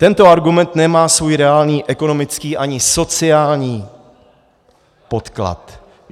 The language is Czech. Tento argument nemá svůj reálný ekonomický ani sociální podklad.